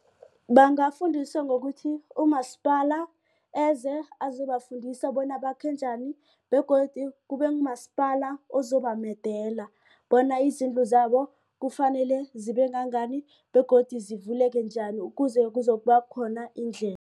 Bangafundiswa ngokuthi umasipala eze azobafundisa bona bakhe njani begodu kube kumasipala ozobamedela bona izindlu zabo kufanele zibe ngangani begodu zivuleke njani ukuze kuzokuba khona indlela.